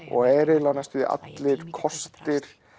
og er eiginlega næstum því allir kostir